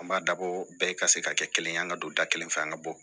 An b'a dabɔ bɛɛ ka se ka kɛ kelen ye an ka don da kelen fɛ an ka bɔ